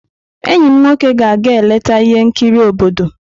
Enyi m nwoke ga-aga eleta ihe nkiri obodo.